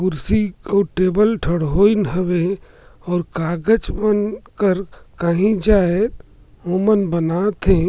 कुर्सी अउ टेबल ठड़ोइन हवे और कागज मन कर कही जाय ओमन बनात हे।